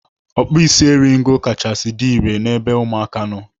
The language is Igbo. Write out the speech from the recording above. Ọkpụisieringo kachasị dị irè n'ebe ụmụaka nọ.